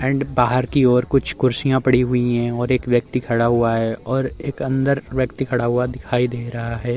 And बाहर की ओर कुछ कुर्सिया पड़ी हुई हैंऔर एक व्यक्ति खड़ा हुआ है और एक अंदर व्यक्ति खड़ा हुआ दिखाई दे रहा है।